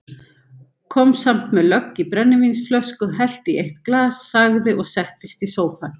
Kom samt með lögg í brennivínsflösku, hellti í eitt glas, sagði og settist í sófann